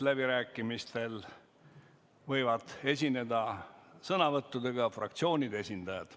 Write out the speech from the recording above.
Läbirääkimistel võivad esineda sõnavõttudega fraktsioonide esindajad.